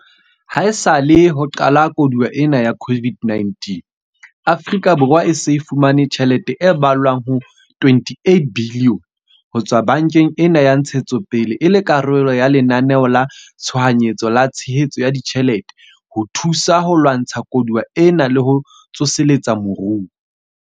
Haesale ho qala koduwa ena ya COVID-19, Afrika Borwa e se e fumane tjhelete e ballwang ho R28 billione ho tswa bankeng ena ya Ntshetsopele e le karolo ya Lenaneo la Tshohanyetso la Tshehetso ya Ditjhelete ho thusa ho lwantsha koduwa ena le ho tsoseletsa moruo.